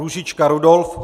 Růžička Rudolf